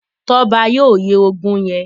Toba yóò ye ògún yén.